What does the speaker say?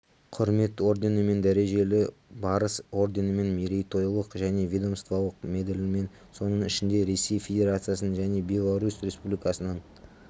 құрмет орденімен дәрежелі барыс орденімен мерейтойлық және ведомстволық медальмен соның ішінде ресей федерациясының және беларусь республикасының